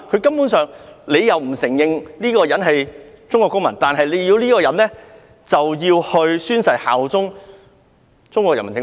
中國不承認他們是中國公民，但卻要求他們宣誓效忠中央人民政府？